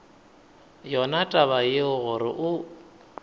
yona taba yeo gore o